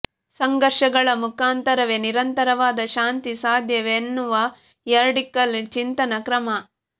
ಸಂಘರ್ಷಗಳ ಮುಖಾಂತರವೇ ನಿರಂತರವಾದ ಶಾಂತಿ ಸಾಧ್ಯ ಎನ್ನುವ ರ್ಯಾಡಿಕಲ್ ಚಿಂತನ ಕ್ರಮ